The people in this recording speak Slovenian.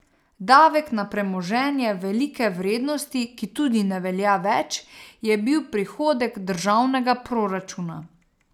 Davek na premoženje velike vrednosti, ki tudi ne velja več, je bil prihodek državnega proračuna.